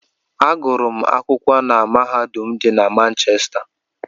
Agụrụ m akwụkwọ na mahadum dị na Manchesta.